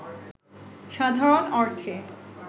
সাধারণ অর্থে